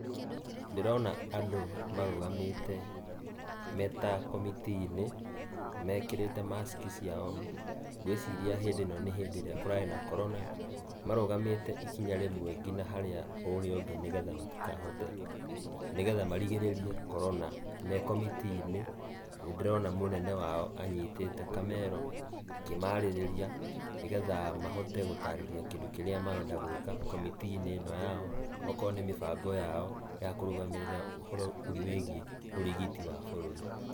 Ndĩrona andũ marũgamĩte, me ta komitii-inĩ, mekĩrĩte mask ciao, ngũĩciria hĩndĩ-ĩno nĩ hĩndĩ ĩrĩa kũrarĩ na Corona, marũgamĩte ikinya rĩmwe kinya harĩa ũrĩa ũngĩ nĩgetha matikahote, ,nĩgetha marigĩrĩrie Corona, me komitii-inĩ. Nĩndĩrona mũnene wao anyitĩte kamero, akĩmarĩrĩria, nĩgetha mahote gũtarĩria kĩndũ kĩrĩa marenda gũĩka, komitii-inĩ ĩno yao. Okorũo nĩ mĩbango yao, ya kũrũgamĩrĩra ũhoro wĩgiĩ ũrigiti wa bũrũri.